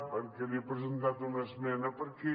perquè li he presentat una esmena perquè